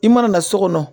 I mana na so kɔnɔ